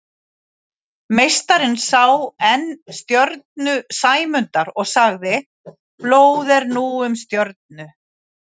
Meistarinn sá enn stjörnu Sæmundar og sagði: Blóð er nú um stjörnu